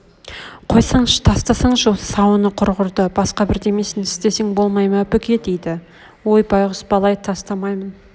қойсаңшы тастасаңшы осы сауыны құрғырды басқа бірдемесін істесең болмай ма бүке дейді ой байғұс бала-ай тастамаймын